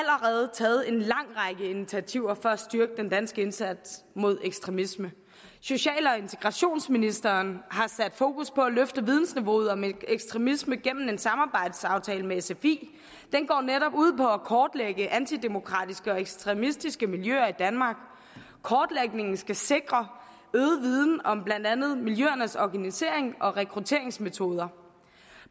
taget en lang række initiativer for at styrke den danske indsats mod ekstremisme social og integrationsministeren har sat fokus på at løfte vidensniveauet om ekstremisme gennem en samarbejdsaftale med sfi den går netop ud på at kortlægge antidemokratiske og ekstremistiske miljøer i danmark kortlægningen skal sikre øget viden om blandt andet miljøernes organisering og rekrutteringsmetoder